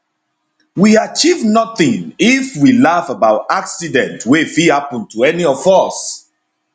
we achieve notin if we laugh about accident wey fit happun to any of us